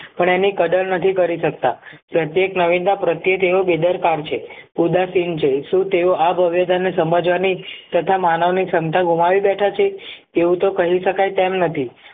પણ એની કદર નથી કરી શકતા પ્રત્યેક નવીનતા પ્રત્યેક એવો બેદરકાર છે ઉદાસીન છે શું તેઓ આ ભવ્યતા ને સમજવાની તથા માનવની ક્ષમતા ગુમાવી બેઠા છે એવું તો કહી શકાય તેમ નથી